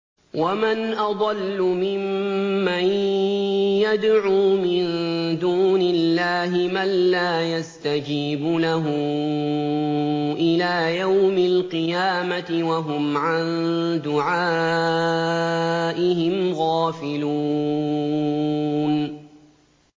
وَمَنْ أَضَلُّ مِمَّن يَدْعُو مِن دُونِ اللَّهِ مَن لَّا يَسْتَجِيبُ لَهُ إِلَىٰ يَوْمِ الْقِيَامَةِ وَهُمْ عَن دُعَائِهِمْ غَافِلُونَ